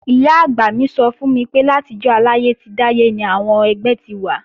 Ìyá-àgbà mi sọ fún mi pé látijọ́ aláyé ti dáyé ni àwọn ẹgbẹ́ ti wà